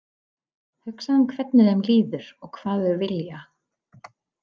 Hugsaðu um hvernig þeim líður og hvað þau vilja.